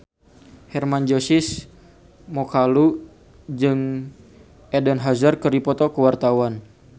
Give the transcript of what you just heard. Hermann Josis Mokalu jeung Eden Hazard keur dipoto ku wartawan